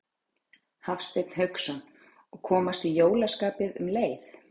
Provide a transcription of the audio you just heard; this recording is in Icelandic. Hafsteinn Hauksson: Og komast í jólaskapið um leið?